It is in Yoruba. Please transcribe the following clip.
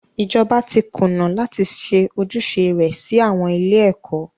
Ìjọba tí kùnà láti ṣe ojúṣe rẹ sí àwọn ilé ẹ̀kọ́.